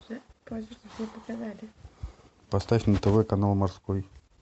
поставь на тв канал морской